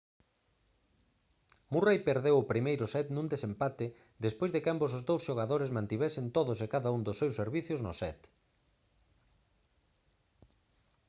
murray perdeu o primeiro set nun desempate despois de que ambos os dous xogadores mantivesen todos e cada un dos seus servizos no set